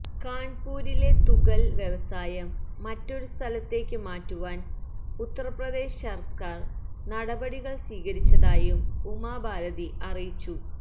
കാണ്പുരിലെ തുകല് വ്യവസായം മറ്റൊരു സ്ഥലത്തേക്കു മാറ്റുവാന് ഉത്തര്പ്രദേശ് സര്ക്കാര് നടപടികള് സ്വീകരിച്ചതായും ഉമ ഭാരതി അറിയിച്ചു